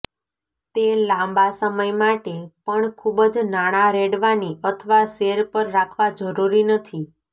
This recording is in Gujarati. તે લાંબા સમય માટે પણ ખૂબ જ નાણાં રેડવાની અથવા સેર પર રાખવા જરૂરી નથી